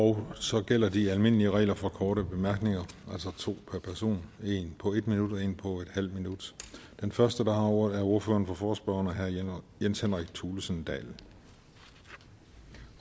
og så gælder de almindelige regler for korte bemærkninger altså to per person en på en minut og en på en halv minut den første der har ordet er ordføreren for forespørgerne herre jens henrik thulesen dahl